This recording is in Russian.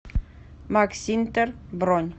максинтер бронь